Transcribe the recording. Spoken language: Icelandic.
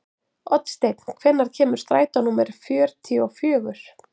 Oddsteinn, hvenær kemur strætó númer fjörutíu og fjögur?